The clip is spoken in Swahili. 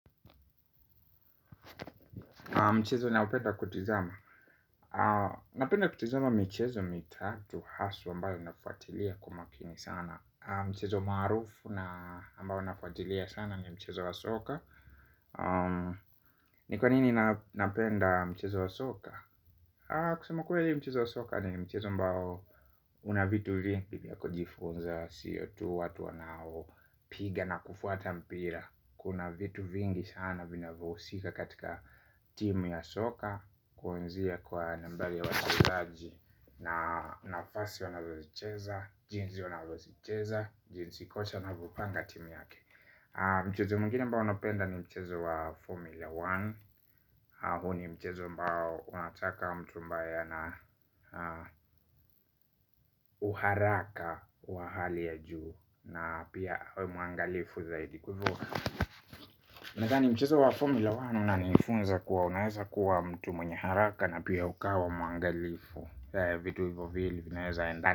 Mchezo naopenda kutizama. Napenda kutizama mchezo mitatu haswa ambao nafuatilia kwa umakini sana. Mchezo maarufu na ambao nafuatilia sana ni mchezo wa soka. Ni kwa nini napenda mchezo wa soka? Kusema kweli mchezo wa soka ni mchezo ambao una vitu vingi vya kujifunza sio tu, watu wanaopiga na kufuata mpira. Kuna vitu vingi sana vinavohusika katika timu ya soka. Kuanzia kwa nambari ya watazaji na nafasi wanavozicheza jinsi wanavozicheza jinsi kocha anavyopanga timi yake. Mchezo mwingine ambao napenda ni mchezo wa Formula moja. Huu ni mchezo ambao unataka mtu ambae ana uharaka wa hali ya juu. Na pia awe mwangalifu zaidi kwa hivyo. Nadhani mchezo wa Formula moja. Unanifunza kuwa unaweza kuwa mtu mwenye haraka. Na pia ukawa mwangalifu Zaya vitu hivo vili vinaweza endana.